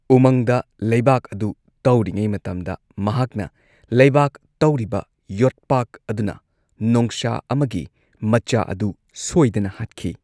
ꯎꯃꯪꯗ ꯂꯩꯕꯥꯛ ꯑꯗꯨ ꯇꯧꯔꯤꯉꯩ ꯃꯇꯝꯗ ꯃꯍꯥꯛꯅ ꯂꯩꯕꯥꯛ ꯇꯧꯔꯤꯕ ꯌꯣꯠꯄꯥꯛ ꯑꯗꯨꯅ ꯅꯣꯡꯁꯥ ꯑꯃꯒꯤ ꯃꯆꯥ ꯑꯗꯨ ꯁꯣꯏꯗꯅ ꯍꯥꯠꯈꯤ꯫